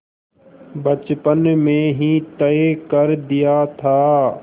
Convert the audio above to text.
बचपन में ही तय कर दिया था